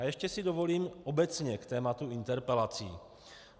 A ještě si dovolím obecně k tématu interpelací.